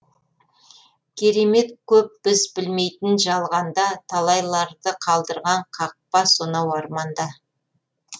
керемет көп біз білмейтін жалғанда талайларды қалдырған қақпа сонау арманда